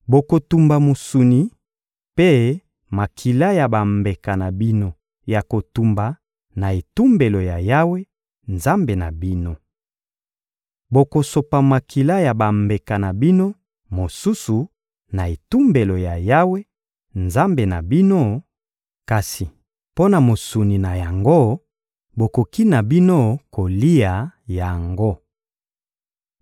Bokotumba mosuni mpe makila ya bambeka na bino ya kotumba na etumbelo ya Yawe, Nzambe na bino. Bokosopa makila ya bambeka na bino mosusu na etumbelo ya Yawe, Nzambe na bino; kasi mpo na mosuni na yango, bokoki na bino kolia yango.